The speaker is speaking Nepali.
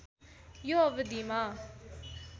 यो अवधिमा